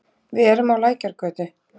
Við erum á Lækjargötu.